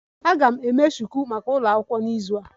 Aga m eme shuku maka ụlọ akwụkwọ n'izu a